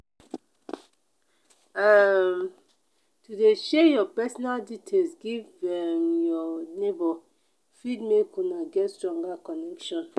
um to de share your personal details give um your neighbor fit make una get stronger connection